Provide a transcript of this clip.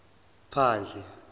phandle